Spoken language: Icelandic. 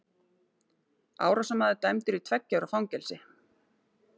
Árásarmaður dæmdur í tveggja ára fangelsi